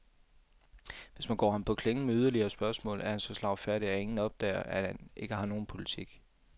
Hvis man går ham på klingen med yderligere spørgsmål, er han så slagfærdig, at ingen opdager, at han ikke har nogen politik.